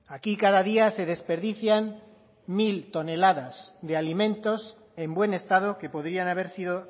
aquí cada día se desperdician mil toneladas de alimentos en buen estado que podrían haber sido